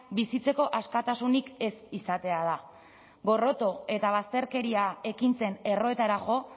bizitzeko askatasunik ez izatea da gorroto eta bazterkeria ekintzen erroetara jo